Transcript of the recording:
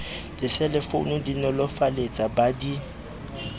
diselefounu di nolofaletsa ba di